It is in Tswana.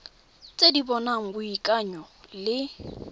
tse di bopang boikanyo le